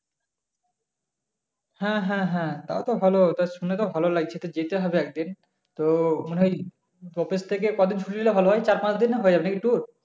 হ্যা হ্যা হ্যা তাও তো ভালো তা শুনে তো ভালো লাগছে যেতে হবে একদিন তো অফিস থেকে কদিন ছুটি নিলে ভালো হয়ে চার পাঁচদিনে হয়ে যাবে tour?